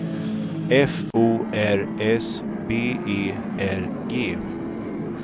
F O R S B E R G